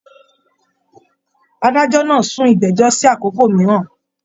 Adájọ náà sún ìgbẹjọ sí àkókò mìíràn.